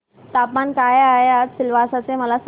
तापमान काय आहे आज सिलवासा चे मला सांगा